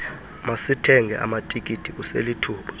masithenge amatikiti kuselithuba